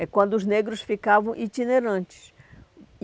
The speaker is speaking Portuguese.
É quando os negros ficavam itinerantes.